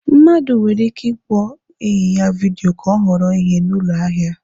Mmadụ nwere ike ịkpọ enyi ya vidiyo ka ọ họrọ ihe na ụlọ ahịa.